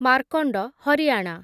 Markand, Haryana